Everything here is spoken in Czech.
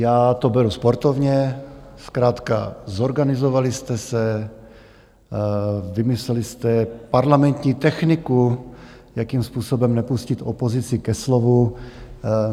Já to beru sportovně, zkrátka zorganizovali jste se, vymysleli jste parlamentní techniku, jakým způsobem nepustit opozici ke slovu.